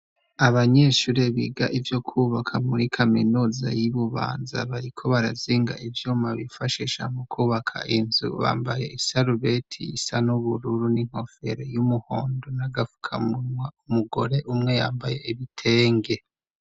Abanyeshure biga ivyo kwubaka muri kaminuza y'ibubanza bariko barazinga ivyo mabifashisha mu kubaka inzu bambaye isarubetiyisa n'ubururu n'inkofero y'umuhondo na gapfukamunwa umugore umwe yambaye ibitenge.